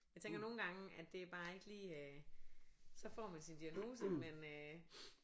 Jeg tænker nogengange at det bare ikke lige øh så får man diagnose men øh